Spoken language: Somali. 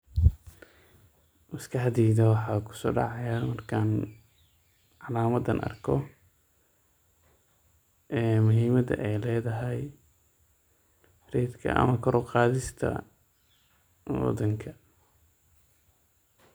Maskaxdeyda waxa kusodacayo markan calamadan arko muhimada ay ledayat ratka ama koor uqadiska wadanka.